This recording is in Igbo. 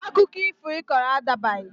Akụkọ ifo Ị kọrọ a dabaghị!